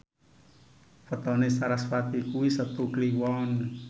wetone sarasvati kuwi Setu Kliwon